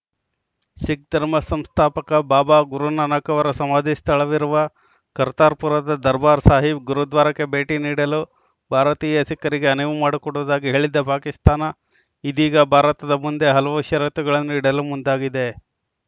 ಸಿಖ್‌ ಧರ್ಮ ಸಂಸ್ಥಾಪಕ ಬಾಬಾ ಗುರುನಾನಕ್‌ ಅವರ ಸಮಾಧಿ ಸ್ಥಳವಿರುವ ಕರ್ತಾರ್‌ಪುರದ ದರ್ಬಾರ್‌ ಸಾಹೀಬ್‌ ಗುರುದ್ವಾರಕ್ಕೆ ಭೇಟಿ ನೀಡಲು ಭಾರತೀಯ ಸಿಖ್ಖರಿಗೆ ಅನುವು ಮಾಡಿಕೊಡುವುದಾಗಿ ಹೇಳಿದ್ದ ಪಾಕಿಸ್ತಾನ ಇದೀಗ ಭಾರತದ ಮುಂದೆ ಹಲವು ಷರತ್ತುಗಳನ್ನು ಇಡಲು ಮುಂದಾಗಿದೆ